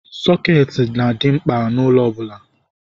Sọketi na-adị mkpa n'ụlọ ọbụla.